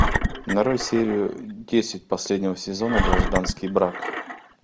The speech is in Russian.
нарой серию десять последнего сезона гражданский брак